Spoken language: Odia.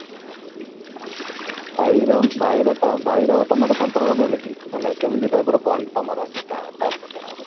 ଭାଇର ଭାଇର ତ ଭାଇର ତମର ସମ୍ପର୍କ କେମିତି ମାନେ କେମିତି type ର bond ତମର ସେଟା ତା ସହିତ?